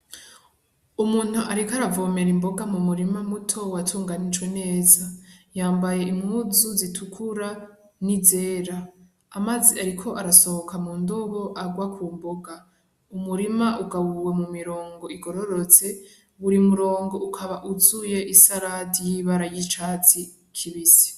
Umuntu ariko aravomera imboga mu murima muto watunganijwe neza, yambaye impuzu zitukura n'izera, amazi ariko arasohoka mu ndobo agwa ku mboga, umurima ugabuwe mu mirongo igororotse buri murongo ukaba wuzuye isaradi y'ibara y'icatsi kibisi.